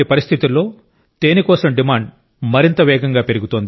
అటువంటి పరిస్థితిలో తేనె కోసం డిమాండ్ మరింత వేగంగా పెరుగుతోంది